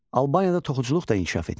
Albaniyada toxuculuq da inkişaf etmişdi.